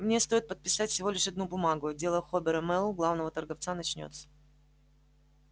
мне стоит подписать всего лишь одну бумагу и дело хобера мэллоу главного торговца начнётся